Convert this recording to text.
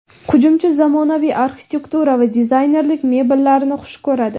Hujumchi zamonaviy arxitektura va dizaynerlik mebellarini xush ko‘radi.